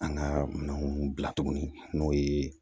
An ka minɛnw bila cogo min n'o ye